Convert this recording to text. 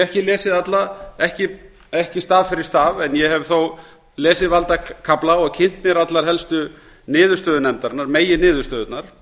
ekki lesið alla ekki staf fyrir staf ég hef þó lesið valda kafla og kynnt mér allar helstu niðurstöður nefndarinnar meginniðurstöðurnar